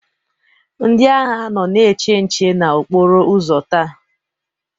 Ndị agha nọ na-eche nche n'okporo ụzọ taa.